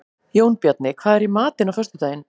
Jónbjarni, hvað er í matinn á föstudaginn?